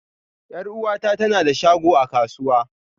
Yar'uwata ta na da shago a kasuwa.